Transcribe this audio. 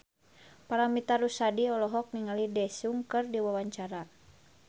Paramitha Rusady olohok ningali Daesung keur diwawancara